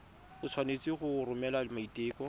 o tshwanetse go romela maiteko